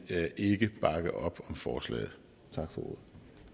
ikke bakke op om forslaget tak for ordet